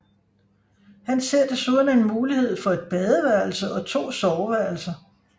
Han ser desuden en mulighed for et badeværelse og to soveværelser